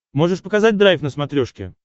можешь показать драйв на смотрешке